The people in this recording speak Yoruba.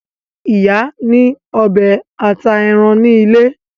Ìyá ní ọbẹ ata èràn ní ilé.